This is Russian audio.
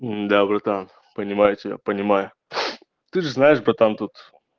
да братан понимаю тебя понимаю ты же знаешь братан тут